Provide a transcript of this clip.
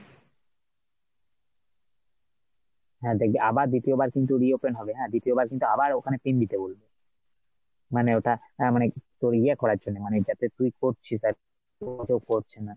হ্যাঁ দেখবি, আবার দ্বিতীয়বার কিন্তু reopen হ্যাঁ দ্বিতীয়বার কিন্তু আবার ওখানে pin দিতে বলবে, মানে ওটা আহ মানে তোর ইয়ে করার জন্যে মানে যাতে তুই করছিস, করছেনা!